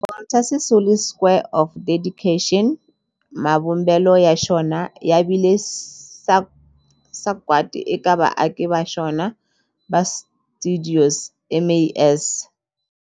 Walter Sisulu Square of Dedication, mavumbelo ya xona ya vile sagwadi eka vaaki va xona va stuidio MAS.